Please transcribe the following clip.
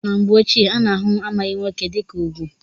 Na mgbe ochie a na-ahụ amaghị nwoke dịka ugwu.